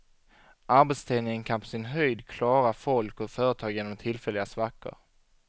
Arbetsdelning kan på sin höjd klara folk och företag genom tillfälliga svackor.